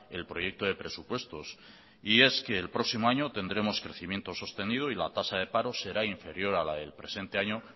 el proyecto de presupuestos y es que el próximo año tendremos crecimientos sostenido y la tasa de paro será inferior a la del presente año